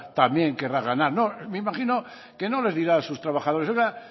también querrá ganar no me imagino que no le dirá a sus trabajadores oiga